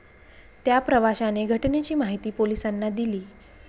त्या प्रवाशाने घटनेची माहिती पोलिसांना दिली.